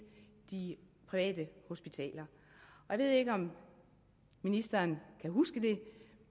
de private hospitaler jeg ved ikke om ministeren kan huske det